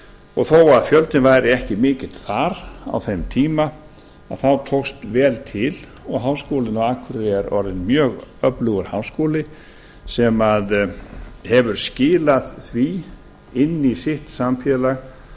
og þó að fjöldinn væri ekki mikill þar á þeim tíma þá tókst vel til og háskólinn á akureyri er orðinn mjög öflugur háskóli sem hefur skilað því inn í sitt samfélag